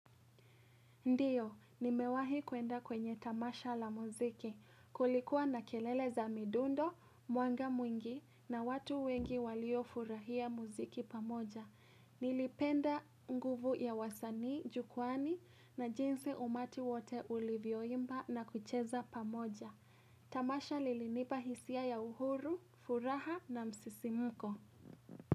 Ndiyo, nimewahi kuenda kwenye tamasha la muziki, kulikuwa na kelele za midundo, mwanga mwingi na watu wengi walio furahia muziki pamoja. Nilipenda nguvu ya wasani, jukwani na jinsi umati wote ulivyoimba na kucheza pamoja. Tamasha lilinipa hisia ya uhuru, furaha na msisimuko.